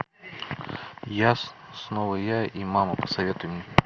я снова я и мама посоветуй мне